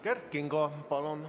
Kert Kingo, palun!